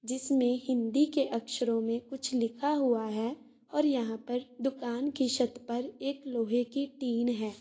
जिसमें हिन्दी के अक्षरों मे कुछ लिखा हुआ है और यहाँ पर दुकान के छत पर लोहे की टीन है।